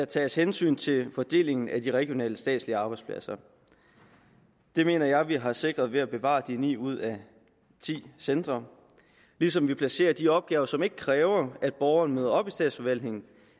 tages hensyn til fordelingen af de regionale statslige arbejdspladser det mener jeg vi har sikret ved at bevare ni ud af ti centre ligesom vi placerer de opgaver som ikke kræver at borgerne møder op i statsforvaltningen